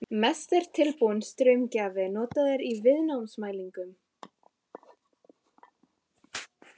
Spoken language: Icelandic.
Mest er tilbúinn straumgjafi notaður í viðnámsmælingum.